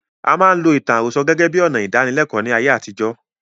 A máa ń lo ìtàn àròsọ gẹ́gẹ́ bíi ọnà ìdánilékòó ní ayé àtijó.